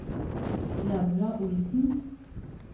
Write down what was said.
Laura Olsen